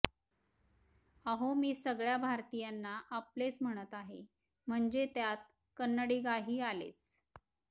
अहो मी सगळ्या भारतीयांना आपलेच म्हणत आहे म्हणजे त्यात कन्नडिगाही आलेच